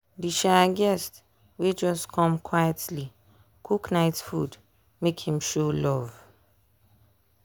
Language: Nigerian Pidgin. di um guest wey just come quietly cook night food make him show love.